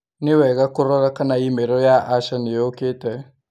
Nĩ wega kũrora kana i-mīrū ya Asha nĩ ĩũkĩte